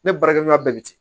Ne baarakɛ minɛn bɛɛ bi ten